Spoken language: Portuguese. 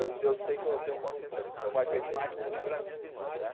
Eu eu sei que eu tenho consciência disso, meu pai fez mais por mim pelas minhas irmãs, né?